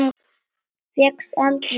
Fékkst aldrei nóg af honum.